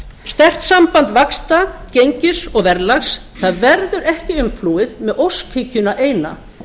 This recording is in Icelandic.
sterkt samband vaxta gengis og verðlags það verður ekki umflúið með óskhyggjuna eina